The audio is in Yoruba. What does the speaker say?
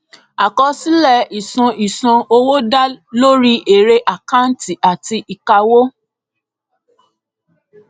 àkọsílẹ ìṣàn ìṣàn owó da lórí èrè àkàǹtì àti ìkáwó